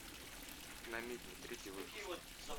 намедни третий выпуск